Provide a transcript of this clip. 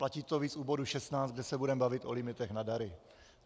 Platí to víc u bodu 16, kde se budeme bavit o limitech na dary.